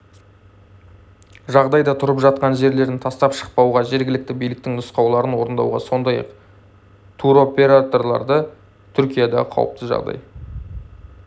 жағдайда тұрып жатқан жерлерін тастап шықпауға жергілікті биліктің нұсқауларын орындауға сондай-ақ туроператорларды түркиядағы қауіпті жағдай